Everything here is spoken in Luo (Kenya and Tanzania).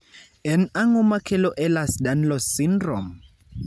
En ang'o makelo Ehlers Danlos syndrome?